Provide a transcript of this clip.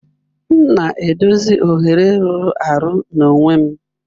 M na-edozi oghere rụrụ arụ n'onwe m.